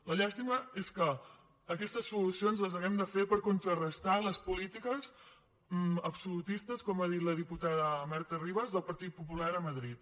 la llàstima és que aquestes solucions les hàgim de fer per contrarestar les polítiques absolutistes com ha dit la diputada marta ribas del partit popular a madrid